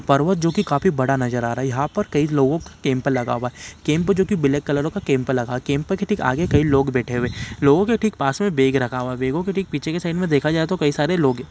पर्वत जो की काफी बड़ा नजर आ रहा है यहाँ पर कई लोग कैम्प लगा हूआ है कैम्प जो की ब्लैक कलर लगा है कैम्प के आगे ठीक लोग बैठे हुए है लोगों के ठीक पास में बैग रखा हूआ है बेगों के ठीक पीछे के साइड में देखा जाए तो कई सारे लोग हैं।